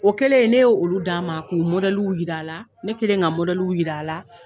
O kɛlen ye ne y'olu d'a ma k'u jira a la ne kɛlen ka jira a la